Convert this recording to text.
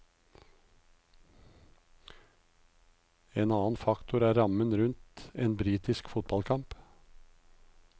En annen faktor er rammen rundt en britisk fotballkamp.